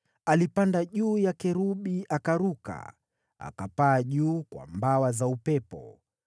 Alipanda juu ya kerubi akaruka, akapaa juu kwa mbawa za upepo.